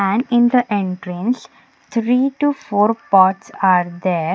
and in the entrance three to four pots are there.